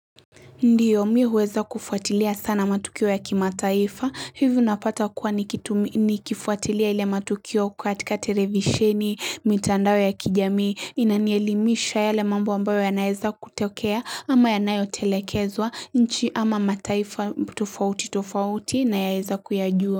Ndiyo mimi huweza kufuatilia sana matukio ya kimataifa hivyo napata kuwa Nikifuatilia ile matukio katika televisheni mitandao ya kijamii inanielimisha yale mambo ambayo ya naweza kutokea ama yanayotelekezwa nchi ama mataifa tofauti tofauti nayaweza kuya jua.